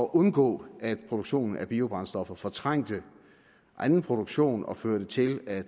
undgå at produktionen af biobrændstoffer ville fortrænge anden produktion og føre til at